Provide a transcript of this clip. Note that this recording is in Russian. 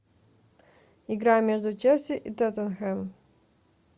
игра между челси и тоттенхэмом